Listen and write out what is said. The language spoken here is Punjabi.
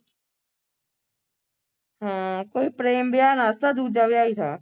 ਹੂ ਪ੍ਰੇਮ ਵਿਆਹ ਨਾ ਥਾ ਦੂਜਾ ਵਿਆਹ ਹੀ ਥਾ